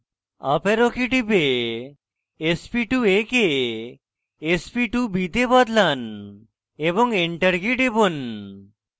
up arrow key টিপে sp2a কে sp2b তে বদলান এবং enter কী টিপুন